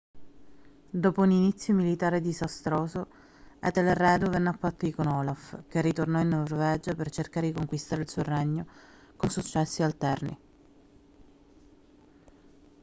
dopo un inizio militare disastroso etelredo venne a patti con olaf che ritornò in norvegia per cercare di conquistare il suo regno con successi alterni